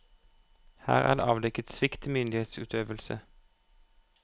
Her er det avdekket svikt i myndighetsutøvelse.